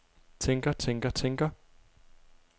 tænker tænker tænker